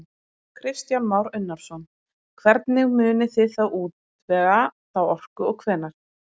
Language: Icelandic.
Kristján Már Unnarsson: Hvernig munið þið útvega þá orku og hvenær?